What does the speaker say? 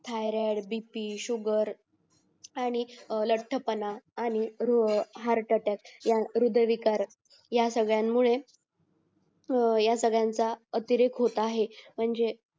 thyroid BP sugar आणि लठ्ठपणा आणि रोह हार करतात यात हृदयविकार यासगळनमुळे या सगळयांचा अतिरोक होत आहे म्हणजे